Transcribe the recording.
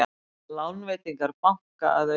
Lánveitingar banka að aukast